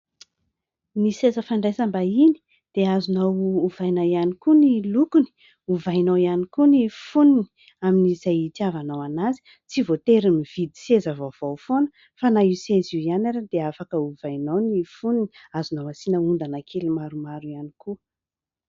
Ny seza fandraisam-bahiny dia azonao ovaina ihany koa ny lokony, ovainao ihany koa ny fonony amin'izay hitiavanao anazy. tsy voatery mividy seza vaovao foana fa na io seza io ihany ary dia afaka ovainao ny fonony. Azonao asiana ondana kely maromaro ihany koa.